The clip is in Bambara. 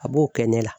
A b'o kɛ ne la